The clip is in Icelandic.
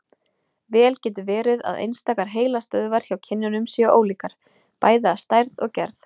Vel getur verið að einstakar heilastöðvar hjá kynjunum séu ólíkar, bæði að stærð og gerð.